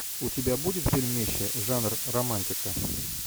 у тебя будет фильмище жанр романтика